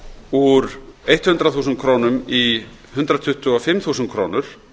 úr hundrað þúsund krónur í hundrað tuttugu og fimm þúsund krónur